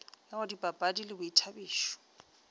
ka go dipapadi le boithabišo